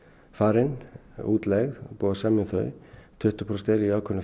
farin útleigð og búið að semja um þau tuttugu prósent eru í ákveðnu